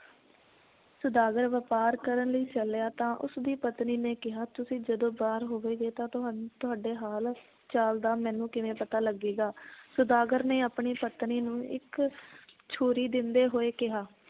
ਸੌਦਾਗਰ ਵਪਾਰ ਕਰਨ ਲਈ ਚੱਲਿਆ ਤਾਂ ਉਸ ਦੀ ਪਤਨੀ ਨੇ ਕਿਹਾ ਤੁਸੀਂ ਜਦੋ ਬਾਹਰ ਹੋਵੋਗੇ ਤਾਂ ਤੁਹਾਨ ਤੁਹਾਡੇ ਹਾਲ ਚਾਲ ਦਾ ਮੈਨੂੰ ਕਿਵੇਂ ਪਤਾ ਲੱਗੇਗਾ ਸੌਦਾਗਰ ਨੇ ਆਪਣੀ ਪਤਨੀ ਨੂੰ ਇੱਕ ਛੁਰੀ ਦਿੰਦੇ ਹੋਏ ਕਿਹਾ